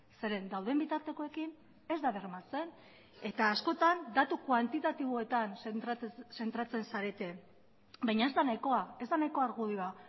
zeren dauden bitartekoekin ez da bermatzen eta askotan datu kuantitatiboetan zentratzen zarete baina ez da nahikoa ez da nahiko argudioa